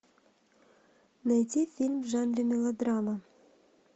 найди фильм в жанре мелодрама